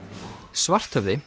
Svarthöfði